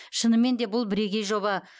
шынымен де бұл бірегей жоба